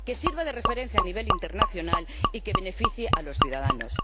Que sirva de referencia a nivel internacional y que beneficie a los ciudadanos.